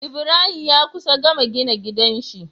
Ibrahim ya kusa gama gina gidan shi